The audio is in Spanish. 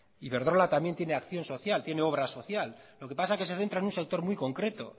iberdrola también tiene acción social tiene obra social lo que pasa que se centra en un sector muy concreto